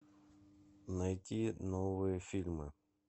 найти новые фильмы